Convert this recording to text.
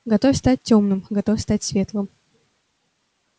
готов стать тёмным готов стать светлым